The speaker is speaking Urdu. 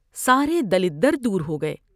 سارے دلدر دور ہو گئے ۔